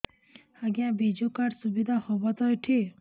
ଆଜ୍ଞା ବିଜୁ କାର୍ଡ ସୁବିଧା ହବ ତ ଏଠି